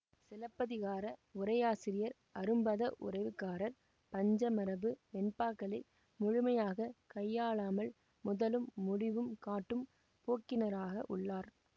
சிலப்பதிகார உரையாசிரியர் அரும்பதவுரைகாரர் பஞ்சமரபு வெண்பாக்களை முழுமையாக கையாளாமல் முதலும் முடிவும் காட்டும் போக்கினராக உள்ளார்